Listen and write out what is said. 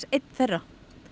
einn þeirra